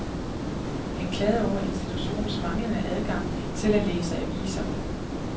Han klagede over institutionens manglende adgang til at læse aviser.